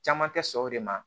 Caman tɛ sɔn o de ma